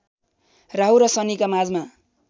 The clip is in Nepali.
राहुु र शनिका माझमा